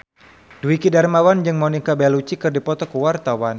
Dwiki Darmawan jeung Monica Belluci keur dipoto ku wartawan